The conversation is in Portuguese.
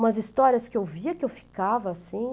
Umas histórias que eu via que eu ficava assim...